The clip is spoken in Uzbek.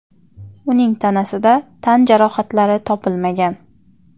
Uning tanasida tan jarohatlari topilmagan.